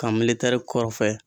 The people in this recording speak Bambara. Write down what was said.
Kan militɛri kɔrɔfɛ